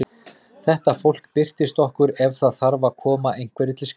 Þetta fólk birtist okkur ef það þarf að koma einhverju til skila.